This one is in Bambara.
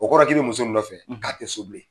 O kɔrɔ ye k'o bɛ muso min nɔfɛ k'a tɛ so bilen.